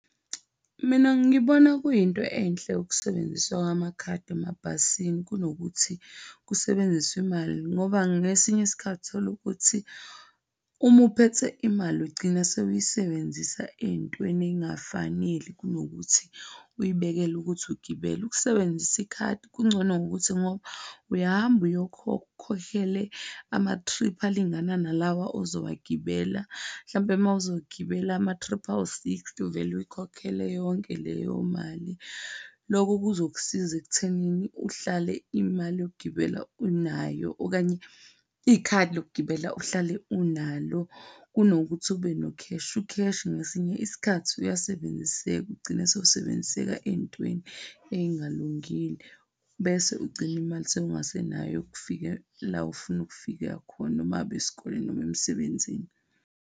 Mina ngibona kuyinto enhle ukusebenziswa kwamakhadi emabhasini kunokuthi kusebenziswe imali ngoba ngesinye isikhathi utholukuthi uma uphethe imali ugcina sewuyisebenzisa ezintweni ezingafaneli kunokuthi uyibekele ukuthi ugibele. Ukusebenzisa ikhadi kungcono ngokuthi ngoba uyahamba ukhokhele ama-trip alingana nalawa ozowagibela. Mhlampe uma uzogibela ama-trip awu sixty, uvele uyikhokhele yonke leyo mali. Loko kuzokusiza ekuthenini uhlale imali yokugibela unayo okanye ikhadi lokugibela uhlale unalo kunokuthi ube nokheshi. Ukheshi ngesinye isikhathi uyasebenziseka, ugcine sewusebenziseka ezintweni ezingalungile bese ugcine imali sewungasenayo yokufika la ofuna ukufika khona, noma ngabe esikoleni noma emsebenzini.